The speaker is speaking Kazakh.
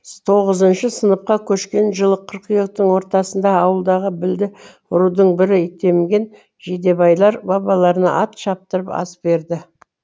тоғызыншы сыныпқа көшкен жылы қыркүйектің ортасында ауылдағы білді рудың бірі итемген жидебайлар бабаларына ат шаптырып ас берді